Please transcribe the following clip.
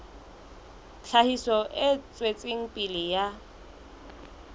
tlhahiso e tswetseng pele ya